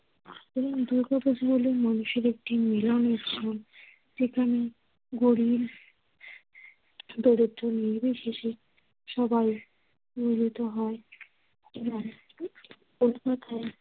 সুতরাং, দুর্গাপূজা হলো মানুষের একটি মিলন উৎসব । যেখানে গরিব দরিদ্র নির্বিশেষে সবাই মিলিত হয় এবং এক কথায়